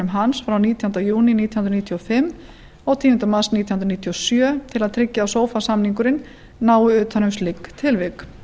hans frá nítjánda júní nítján hundruð níutíu og fimm og tíunda mars nítján hundruð níutíu og sjö til að tryggja að sofa samningurinn nái utan um slík tilvik